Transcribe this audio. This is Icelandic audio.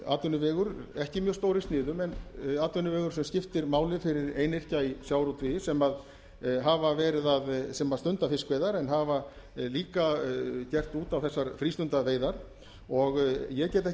atvinnuvegur ekki mjög stór í sniðum en atvinnuvegur sem skiptir máli fyrir einyrkja í sjávarútvegi sem stunda fiskveiðar en hafa líka gert út á þessar frístundaveiðar og ég get ekki skilið